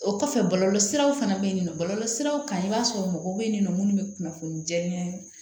O kɔfɛ bɔlɔlɔsiraw fana bɛ yen nɔ bɔlɔlɔ siraw kan i b'a sɔrɔ mɔgɔw bɛ yen nɔ minnu bɛ kunnafoni jɛ